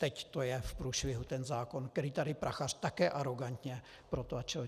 Teď to je v průšvihu, ten zákon, který tady Prachař také arogantně protlačil.